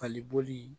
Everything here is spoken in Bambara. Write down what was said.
Fali boli